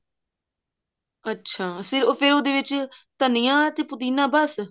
ਅੱਛਾ ਫ਼ੇਰ ਉਹਦੇ ਵਿੱਚ ਧਨੀਆ ਤੇ ਪੁਦੀਨਾ ਬਸ